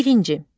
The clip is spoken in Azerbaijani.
Birinci.